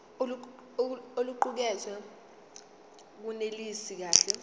oluqukethwe lunelisi kahle